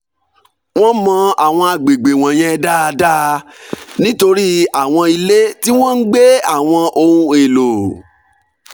wọ́n mọ àwọn àgbègbè wọ̀nyẹn dáadáa nítorí àwọn ilé tí wọ́n ń gbé àwọn ohun èlò